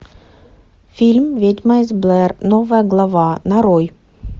фильм ведьма из блэр новая глава нарой